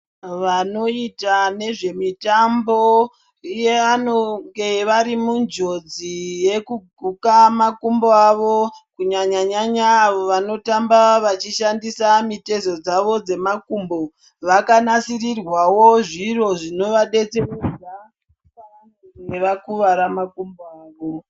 Vanoita nezvemutambo ivo vanenge vari munjodzi dzekguka makumbo avo kunyanya nyanya avo vanotamaba vachishandisa mitezo dzavo dzemakumbo vaka nasirirwawo zviro zvinovadetseredza apo vanenge vakuvara makumbo avo.